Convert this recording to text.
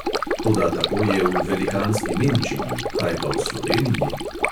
Toda tako je v velikanski nemčiji, kaj pa v sloveniji?